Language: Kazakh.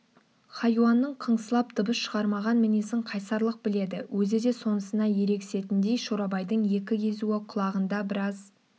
хайуанның кыңсылап дыбыс шығармаған мінезін қайсарлық біледі өзі де сонысына ерегісетіндей шорабайдың екі езуі құлағында біраз